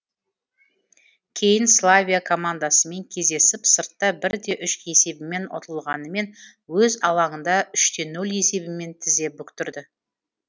кейін славия командасымен кездесіп сыртта бір де үш есебімен ұтылғанымен өз алаңында үш те нөл есебімен тізе бүктірді